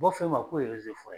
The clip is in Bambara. U b'a f'e ma k'o